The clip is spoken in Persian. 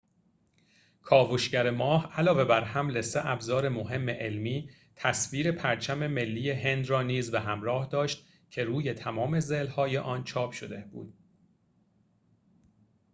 کاوشگر ماه علاوه بر حمل سه ابزار مهم علمی تصویر پرچم ملی هند را نیز به همراه داشت که روی تمام ضلع‌های آن چاپ شده بود